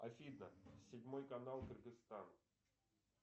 афина седьмой канал кыргызстан